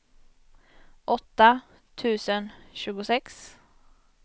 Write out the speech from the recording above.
åtta tusen tjugosex